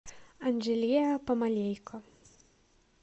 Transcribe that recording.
анжелия помалейко